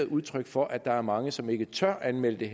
udtryk for at der er mange som ikke tør anmelde det